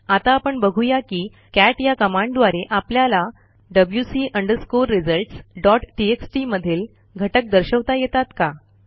आता आपण बघू या की कॅट या कमांडद्वारे आपल्याला wc results डॉट टीएक्सटी मधील घटक दर्शवता येतात का